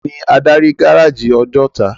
Táni ádári gáráji Òjòtá?